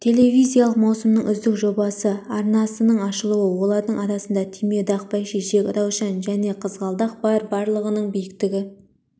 телевизиялық маусымның үздік жобасы арнасының ашылуы олардың арасында түймедақ бәйшешек раушан және қызғалдақ бар барлығының биіктігі